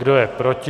Kdo je proti?